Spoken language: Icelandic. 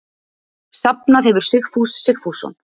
Safnað hefir Sigfús Sigfússon.